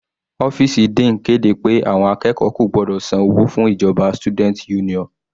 Ọ́fìsì dean kéde pé àwọn akẹ́kọ̀ọ́ kò gbọ́dọ̀ san owó fún ìjọba student union.